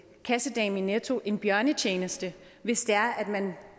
kassedamen i netto en bjørnetjeneste hvis det er at man